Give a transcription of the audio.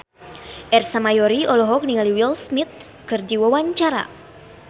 Ersa Mayori olohok ningali Will Smith keur diwawancara